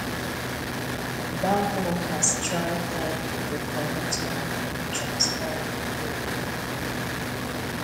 bank workers try tire to correct one money transfer wey go wrong